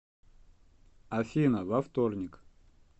афина во вторник